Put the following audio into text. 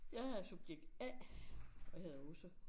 Jeg er subjekt A og hedder Åse